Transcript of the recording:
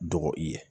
Dɔgɔ i ye